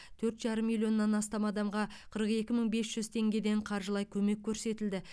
төрт жарым миллионнан астам адамға қырық екі мың бес жүз теңгеден қаржылай көмек көрсетілді